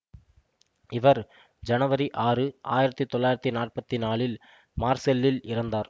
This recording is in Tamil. இவர் ஜனவரி ஆறு ஆயிரத்தி தொள்ளாயிரத்தி நாற்பத்தி நாலில் மார்செல்லில் இறந்தார்